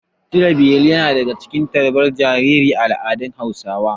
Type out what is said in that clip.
Cire beli yana cikin abubuwan tarbar jinjiri a al'adar Hausawa.